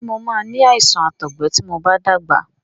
Ṣé mo máa ni àìsàn àtọgbẹ ti mo bá dàgbà?